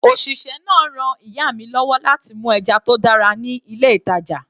Òṣìṣẹ́ náà ran ìyá mi lọ́wọ́ láti mú ẹja tó dára ní ilé ìtàjà.